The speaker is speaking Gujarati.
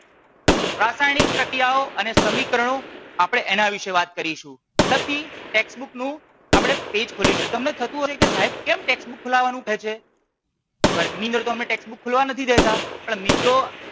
રાસાયણીક પ્રક્રીયાઓ અને સમીકરણો આપણે એના વીશે વાત કરીશુ. પછી ટેક્સ્ટ બુક નું આપણે પેજ ખોલીશુ. તમને થતું હશે કે સાહેબ કેમ ટેક્સ્ટ બુક ખોલાવાનું કે છે વર્ગ ની અંદર તો અમને ટેક્સ્ટ બુક ખોલવા નથી દેતા પણ મિત્રો